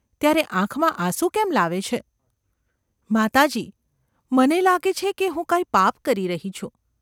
‘ત્યારે આંખમાં આંસુ કેમ લાવે છે ?’ ‘માતાજી ! મને લાગે છે કે હું કાંઈ પાપ કરી રહી છું.